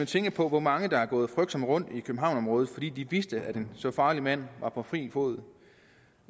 tænke på hvor mange der har gået frygtsomme rundt i københavnsområdet fordi de vidste at en så farlig mand var på fri fod